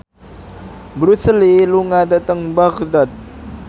Bruce Lee lunga dhateng Baghdad